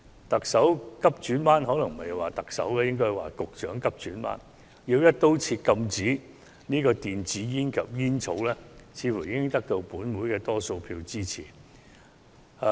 特首急轉彎——可能不應說是特首，是局長急轉彎——要"一刀切"禁制電子煙及有關的煙草產品，這似乎已得到本會多數議員支持。